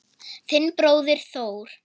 Þinn bróðir Þór.